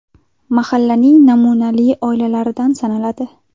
Mahallaning namunali oilalaridan sanaladi.